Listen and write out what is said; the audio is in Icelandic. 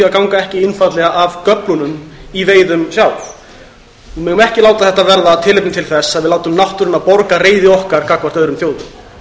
að ganga ekki einfaldlega af göflunum í veiðum sjálf við megum ekki láta þetta verða tilefni til þess að við látum náttúruna borga reiði okkar gagnvart öðrum þjóðum